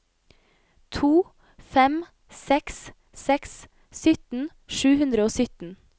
to fem seks seks sytten sju hundre og sytten